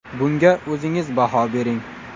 Bunga o‘zingiz baho bering.